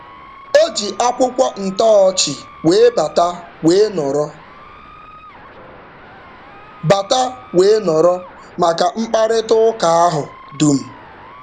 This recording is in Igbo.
O ji akwụkwọ ntọọchị wee bata wee nọrọ bata wee nọrọ maka mkparịtaụka ahụ dum.